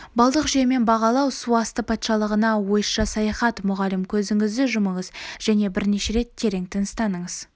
балдық жүйемен бағалау су асты патшалығына ойша саяхат мұғалім көзіңізді жұмыңыз және бірнеше рет терең тыныстаңыз